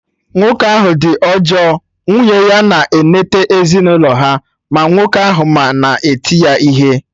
Nwoke ahụ dị ọjọọ, nwunye ya na-enete ezinụlọ ha, ma nwoke ahụ ma na eti ya ihe